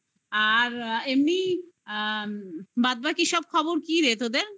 আর এমনি বাদবাকি সব খবর কি রে তোদের